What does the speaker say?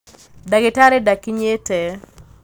ndagītarī ndakinyīte.